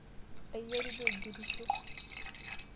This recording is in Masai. Aijaribuo aigerisho.